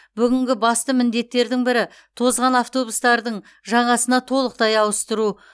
бүгінгі басты міндеттердің бірі тозған автобустардың жаңасына толықтай ауыстыру